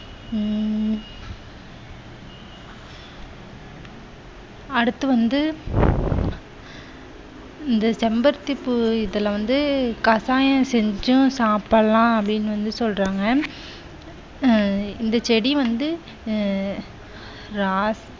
அடுத்து வந்து இந்த செம்பருத்தி பூ இதுல வந்து கஷாயம் செஞ்சும் சாப்பிடலாம் அப்படி என்று சொல்றாங்க அஹ் இந்தச் செடி வந்து அஹ் ராஸ்